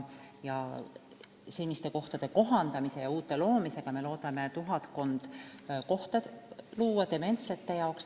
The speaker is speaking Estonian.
Seniste kohtade kohandamise ja uute loomisega me saame tuhatkond kohta dementsete jaoks.